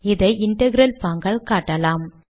இதை இன்டெக்ரல் பாங்கால் காட்டலாம்